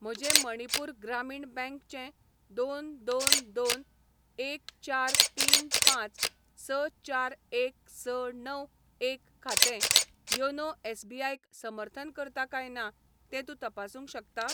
म्हजें मणिपूर ग्रामीण बँक चें दोन दोन दोन एक चार तीन पांच स चार एक स णव एक खातें योनो एस.बी.आय क समर्थन करता काय ना तें तूं तपासूंक शकता?